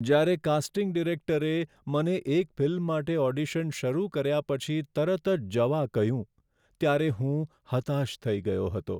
જ્યારે કાસ્ટિંગ ડિરેક્ટરે મને એક ફિલ્મ માટે ઓડિશન શરૂ કર્યા પછી તરત જ જવા કહ્યું, ત્યારે હું હતાશ થઈ ગયો હતો.